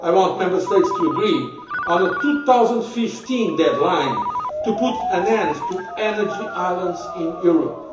I want Member States to agree on a 2015 deadline to put an end to energy islands in Europe.